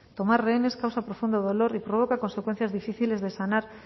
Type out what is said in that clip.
tomar rehenes causa profundo dolor y provoca consecuencias difíciles de sanar